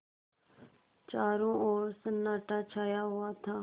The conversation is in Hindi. चारों ओर सन्नाटा छाया हुआ था